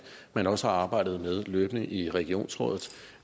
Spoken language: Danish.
man også har arbejdet med løbende i regionsrådet